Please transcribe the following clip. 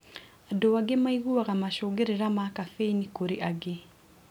Andũ angĩ maiguaga macũngĩrira ma caffeini kũrĩ angĩ.